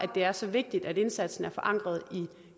det er så vigtigt at indsatsen er forankret i